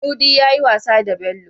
Mudi yayi wasa da Bello